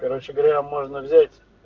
короче говоря можно взять